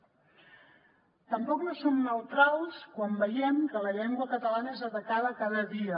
tampoc no som neutrals quan veiem que la llengua catalana és atacada cada dia